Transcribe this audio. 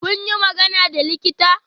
Kun yi magana da likita?